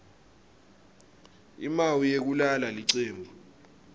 imawi yekulala licembu